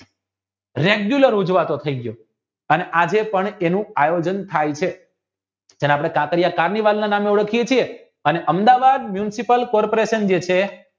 regular ઉજવાતો થાય ગયો અને આજે તેનું આયોજન થઈ છે તેને કાંકરિયા નામે ઓળખીયે છીએ અમદાવાદની Municipal Corporation